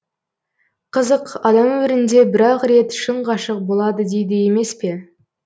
қызық адам өмірінде бір ақ рет шын ғашық болады дейді емес пе